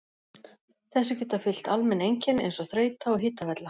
Þessu geta fylgt almenn einkenni eins og þreyta og hitavella.